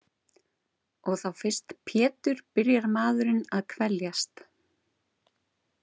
Og þá fyrst Pétur byrjar maðurinn að kveljast.